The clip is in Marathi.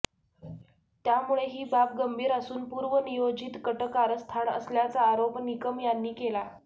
त्यामुळे ही बाब गंभीर असून पूर्वनियोजित कटकारस्थान असल्याचा आरोप निकम यांनी केला